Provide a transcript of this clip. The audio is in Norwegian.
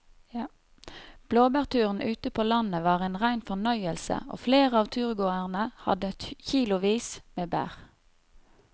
Blåbærturen ute på landet var en rein fornøyelse og flere av turgåerene hadde kilosvis med bær.